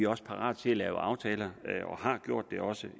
også parate til at lave aftaler og har gjort det også